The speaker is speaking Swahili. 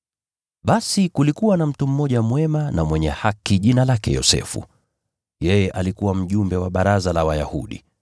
Basi kulikuwa na mtu mmoja mwema na mwenye haki, jina lake Yosefu. Yeye alikuwa mjumbe wa Baraza la Wayahudi,